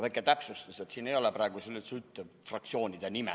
Väike täpsustus, et siin ma ei ole praegu üldse fraktsiooni esindaja.